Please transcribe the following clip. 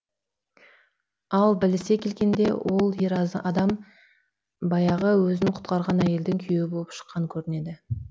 ал білісе келгенде ол ер адам баяғы өзін құтқарған әйелдің күйеуі болып шыққан көрінеді